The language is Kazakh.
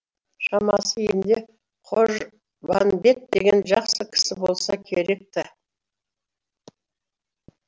шамасы елінде қожбанбет деген жақсы кісі болса керекті